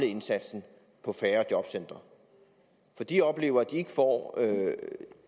indsatsen på færre jobcentre for de oplever at de ikke får